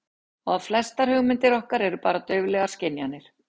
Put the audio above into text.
Og að flestar hugmyndir okkar eru bara dauflegar skynjanir.